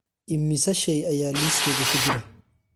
Immisa shay ayaa liiskayga ku jira?